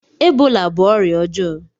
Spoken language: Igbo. Ebola bú ọrịa ọjọọ